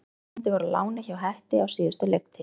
Sá síðastnefndi var á láni hjá Hetti á síðustu leiktíð.